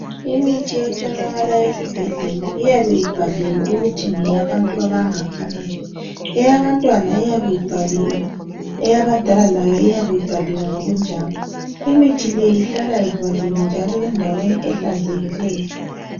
Imithi etholakala esibhedlela iyabe ibhaliwe ukuthi ngeyabantu abangakanani. Eyabantwana iyabe ibhaliwe, eyabadala layo iyabe ibhaliwe ngokunjalo. Imithi le ihlala ivaliwe njalo endaweni ehlanzekileyo.